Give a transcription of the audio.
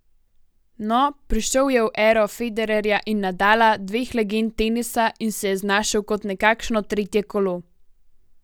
No, prišel je v ero Federerja in Nadala, dveh legend tenisa, in se je znašel kot nekakšno tretje kolo.